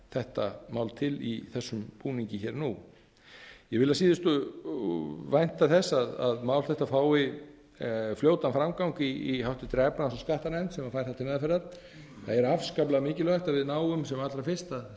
þetta mál til í þessum búningi hér og nú ég vil að síðustu vænta þess að mál þetta fái fljótan framgang í háttvirtri efnahags og skattanefnd sem fær það til meðferðar það er afskaplega mikilvægt að við náum sem allra fyrst að